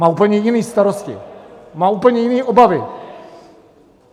Má úplně jiné starosti, má úplně jiné obavy.